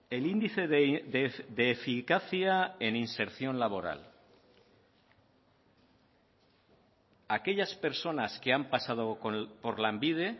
el índice de eficacia en inserción laboral aquellas personas que han pasado por lanbide